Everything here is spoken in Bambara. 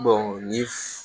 ni